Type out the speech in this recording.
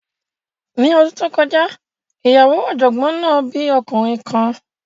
Ní ọdún tó kọjá, ìyàwó ọ̀jọ̀gbọ́n náà bí ọmọkùnrin kan.